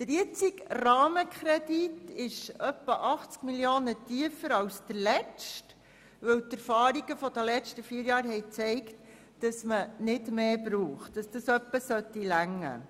Der aktuelle Rahmenkredit ist um rund 80 Mio. Franken tiefer als der letzte, denn die Erfahrungen der letzten vier Jahre haben gezeigt, dass man nicht mehr braucht und dieser Betrag ausreichen sollte.